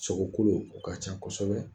Sogo kolo o ka ca kosɛbɛ